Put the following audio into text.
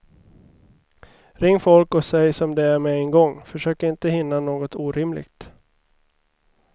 Ring folk och säg som det är med en gång, försök inte hinna något orimligt.